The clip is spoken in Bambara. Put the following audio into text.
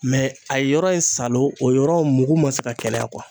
Mɛ a ye yɔrɔ in salon o yɔrɔ mugu ma se ka kɛnɛya